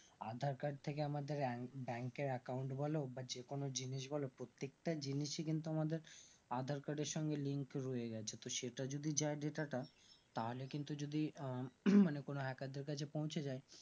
aadhar card থেকে আমাদের bank এর account বলো বা যে কোনো জিনিস বলো প্রত্যেকটা জিনিসই কিন্তু আমাদের aadhar card তো সেটা যদি চাই delta টা তাহলে কিন্তু আঃ মানে কোনো hacker দের কাছে পৌঁছে যাই